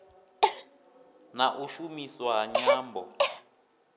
na u shumiswa ha nyambo